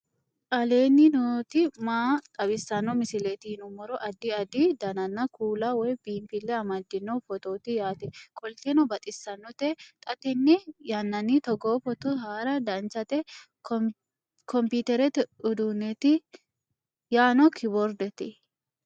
aleenni nooti maa xawisanno misileeti yinummoro addi addi dananna kuula woy biinfille amaddino footooti yaate qoltenno baxissannote xa tenne yannanni togoo footo haara danchate komiterete uduunneeti yaano kiboordete